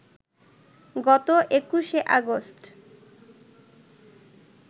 গত ২১শে অগাস্ট